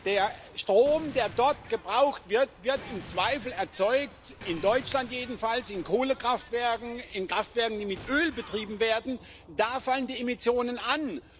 Der Strom, der dort gebraucht wird, wird im Zweifel erzeugt in Deutschland jedenfalls in Kohlekraftwerken, in Kraftwerken, die mit Öl betrieben werden, da fallen die Emissionen an.